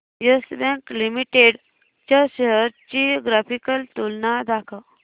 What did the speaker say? yes Bank Limited च्या shares ची graphical तुलना दाखव